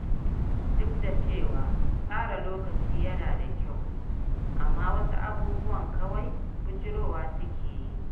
Duk da cewa tsara lokaci yana da kyau, amma wasu abubuwan kawai bijirowa suke yi.